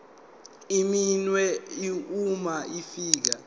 iminwe uma ufika